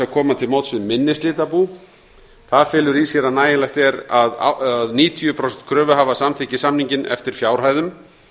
að koma til móts við minni slitabú það felur í sér að nægilegt er að níutíu prósent kröfuhafa samþykki samninginn eftir fjárhæðum